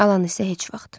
Alan isə heç vaxt.